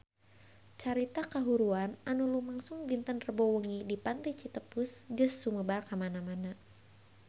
Carita kahuruan anu lumangsung dinten Rebo wengi di Pantai Citepus geus sumebar kamana-mana